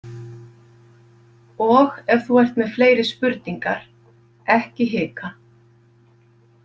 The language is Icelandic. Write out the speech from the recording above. Og ef þú ert með fleiri spurningar, ekki hika.